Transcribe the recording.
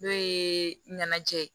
N'o ye ɲɛnajɛ ye